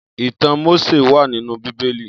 Itàn Mósé wà ninú Bibéli